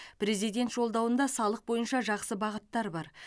президент жолдауында салық бойынша жақсы бағыттар бар